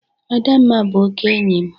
Adamma bụ oke enyi m.